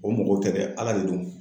O mɔgɔ tɛ dɛ, ala de don.